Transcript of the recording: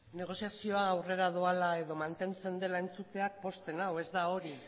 negoziazioa aurrera doala edo mantentzen dela entzuteak pozten nau ez da hori